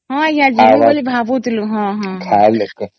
ହଁ ଆଂଜ୍ଞା ଯିବୁ ବୋଲି ବି ଭାବୁଥିଲୁ ହଁ ହଁ